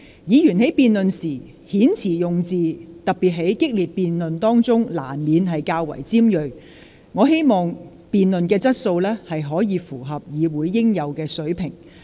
議員在辯論時，特別是在激烈的辯論當中，遣詞用字難免較為尖銳，但我希望議員辯論的質素可以符合議會應有的水平。